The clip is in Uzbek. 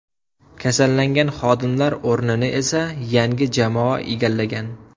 Kasallangan xodimlar o‘rnini esa yangi jamoa egallagan.